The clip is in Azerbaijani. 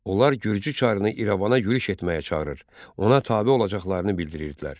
Onlar Gürcü çarını İrəvana yürüş etməyə çağırır, ona tabe olacaqlarını bildirirdilər.